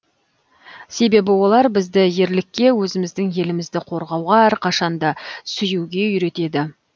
себебі олар бізді ерлікке өзіміздің елімізді қорғауға әрқашан да сүюге үйретеді